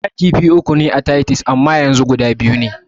Da kifi uku ne a taytus amma yanzu guda biyu ne.